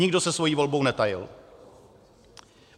Nikdo se svou volbou netajil.